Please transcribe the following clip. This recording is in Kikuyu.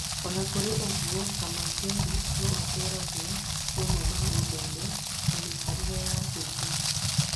Ona kũrĩ oũgwo, Kamangeri no atũragia mamwe ma ũndũire na mĩikarĩre ya gĩthii.